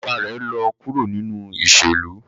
Baba rẹ lọ kuro ninu iṣelu